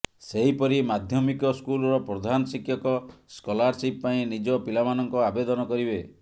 ସେହିପରି ମାଧ୍ୟମିକ ସ୍କୁଲର ପ୍ରଧାନ ଶିକ୍ଷକ ସ୍କଲାରସିପ୍ ପାଇଁ ନିଜ ପିଲାମାନଙ୍କ ଆବେଦନ କରିବେ